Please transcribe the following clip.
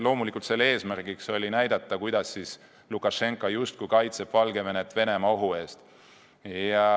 Loomulikult oli eesmärk näidata, kuidas Lukašenka justkui kaitseb Valgevenet Venemaa-ohu eest.